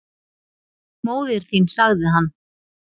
Móðir þín sagði hann.